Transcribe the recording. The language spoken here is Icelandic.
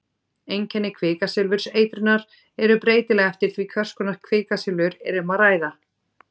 Einkenni kvikasilfurseitrunar eru breytileg eftir því hvers konar kvikasilfur er um að ræða.